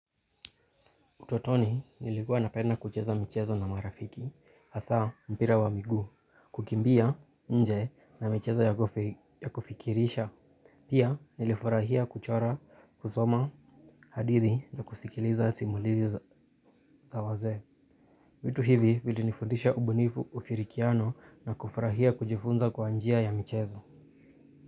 Utotoni nilikua napenda kucheza michezo na marafiki, hasa mpira wa miguu, kukimbia inje na michezo ya kufikirisha. Pia nilifurahia kuchora, kusoma, hadithi na kusikiliza simulizi za wazee. Vitu hivi vili nifundisha ubunifu ufirikiano na kufurahia kujifunza kwa njia ya michezo.